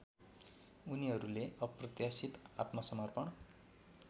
उनीहरुले अप्रत्याशित आत्मसमर्पण